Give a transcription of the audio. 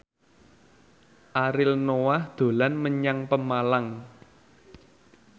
Ariel Noah dolan menyang Pemalang